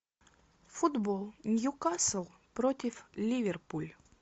футбол ньюкасл против ливерпуль